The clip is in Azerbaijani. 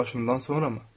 Bu yaşından sonramı?